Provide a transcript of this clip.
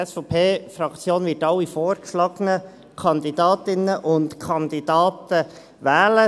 Die SVP-Fraktion wird alle vorgeschlagenen Kandidatinnen und Kandidaten wählen.